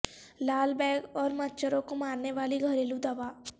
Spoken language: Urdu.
لال بیگ اور مچھروں کو مارنے والی گھریلو دوا